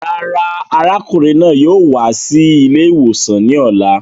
Rárá, arákùnrin náà yóò wá sí ilè ìwòsàn ní ọ̀la